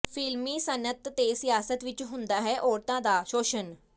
ਫ਼ਿਲਮੀ ਸਨਅਤ ਤੇ ਸਿਆਸਤ ਵਿਚ ਹੁੰਦਾ ਹੈ ਔਰਤਾਂ ਦਾ ਸ਼ੋਸ਼ਣ